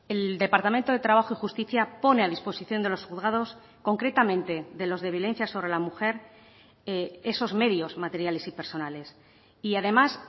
el departamento de trabajo y justicia pone a disposición de los juzgados concretamente de los de violencia sobre la mujer esos medios materiales y personales y además